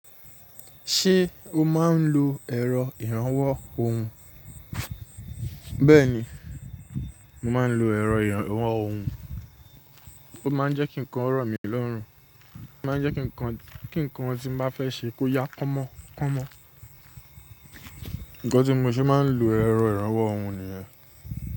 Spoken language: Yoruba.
Ṣé o máa ń lo ẹ̀rọ ìrànwọ́ ohùn? Bẹ́ẹ̀ni, mo máa ń lo ẹ̀rọ ìrànwọ́ ohùn, ó máa ń jẹ́ kí nǹkan rọ̀ mí lọ́rùn, ó máa ń jẹ́ kí nkankan tí mo bá fẹ́ ṣe kó yá kọ́mọ kọ́mọ. Nǹkan tí mo ṣe máa ń lo ẹ̀rọ ìrànwọ́ ohùn nìyẹn.